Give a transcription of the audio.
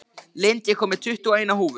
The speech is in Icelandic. Lind, ég kom með tuttugu og eina húfur!